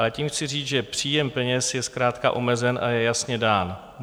Ale tím chci říct, že příjem peněz je zkrátka omezen a je jasně dán.